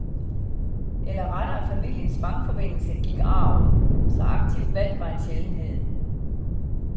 Eller rettere familiens bankforbindelse gik arv, så aktivt valg var en sjældenhed.